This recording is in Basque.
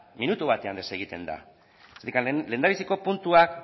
minutu batean desegiten da zergatik lehendabiziko puntuak